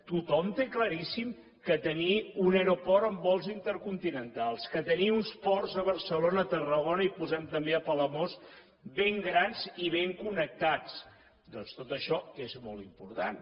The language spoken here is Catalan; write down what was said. tothom té claríssim que tenir un aeroport amb vols intercontinentals que tenir uns ports a barcelona a tarragona i posem hi també a palamós ben grans i ben connectats doncs tot això és molt important